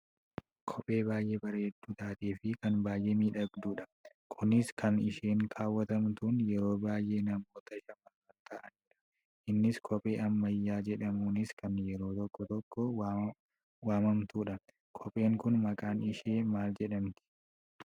Kophee baayyee bareedduu taateefi kan baayyee miidhagdudha. Kunis kan isheen kaawwatamtuun yeroo baayyee namoota shamarran ta'aniidha. Innis koohee ammayyaa jedhamuunis kan yeroo tokko tokko waammantudha. Kopheen kun maqaan ishee maal jedhamti?